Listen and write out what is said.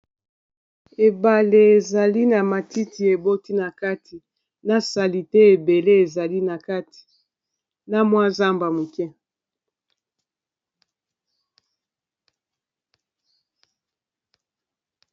ebale ezali na matiti eboti na kati na salite ebele ezali na kati na mwa zamba moke